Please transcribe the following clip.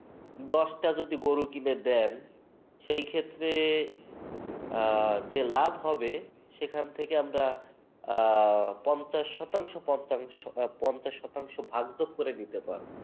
দশটা যদি গরু কিনে দেন সেই ক্ষেত্রে আহ যে লাভ হবে সেখান থেকে আমরা আহ পঞ্চাশ শতাংশ পঞ্চা আহ পঞ্চাশ শতাংশ ভাগযোগ করে নিতে পারবো।